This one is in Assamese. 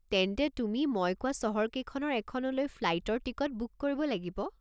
তেন্তে তুমি মই কোৱা চহৰকেইখনৰ এখনলৈ ফ্লাইটৰ টিকট বুক কৰিব লাগিব।